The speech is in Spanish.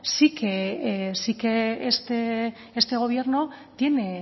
sí que este gobierno tiene